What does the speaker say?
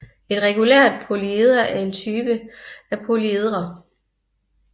Et regulært polyeder er en type af polyedre